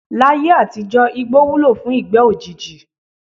Láyé àtijó̩ igbó wúlò fún ìgbé̩ òjijì.